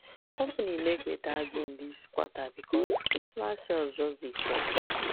company make better gain this quarter because christmas sales just dey fly